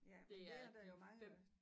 Ja men det er da jo meget